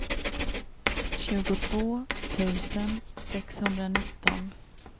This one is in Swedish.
tjugotvå tusen sexhundranitton